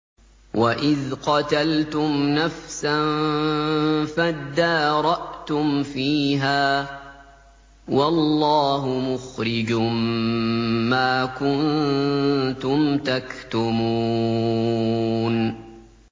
وَإِذْ قَتَلْتُمْ نَفْسًا فَادَّارَأْتُمْ فِيهَا ۖ وَاللَّهُ مُخْرِجٌ مَّا كُنتُمْ تَكْتُمُونَ